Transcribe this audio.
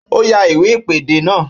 Ó yá iwe ìpèdè náà